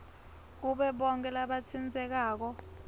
kubo bonkhe labatsintsekako